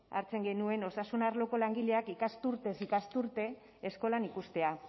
hartzen genuen osasun arloko langileak ikasturtez ikasturte eskolan ikustea